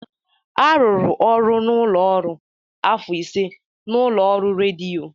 Arụrụ ọrụ n'ụlọ ọrụ afọ ise n'ụlọ ọrụ rediyo.